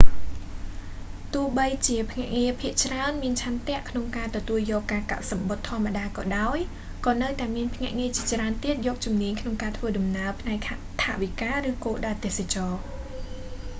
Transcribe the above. ទោះបីជាភ្នាក់ងារភាគច្រើនមានឆន្ទៈក្នុងការទទួលយកការកក់សំបុត្រធម្មតាក៏ដោយ ក៏នៅតែមានភ្នាក់ងារជាច្រើនទៀតយកជំនាញក្នុងការធ្វើដំណើរ ផ្នែកថវិការឬគោលដៅទេសចរណ៍